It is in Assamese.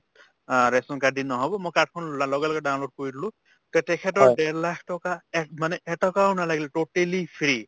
অ ration card দি নহব মই card খন লগেলগে download কৰি দিলো তে তেখেতৰ ডেৰ লাখ টকা এহ্ মানে এটকাও নালাগিল totally free